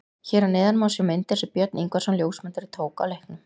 Hér að neðan má sjá myndir sem Björn Ingvarsson ljósmyndari tók á leiknum.